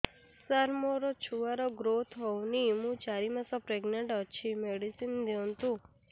ସାର ମୋର ଛୁଆ ର ଗ୍ରୋଥ ହଉନି ମୁ ଚାରି ମାସ ପ୍ରେଗନାଂଟ ଅଛି ମେଡିସିନ ଦିଅନ୍ତୁ